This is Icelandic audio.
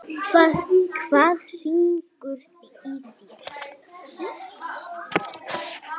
En Lalli var ekkert kátur.